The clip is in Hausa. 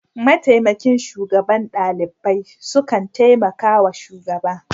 Mataimakin shugaban ɗalibai sukan taimaka wa shugaba.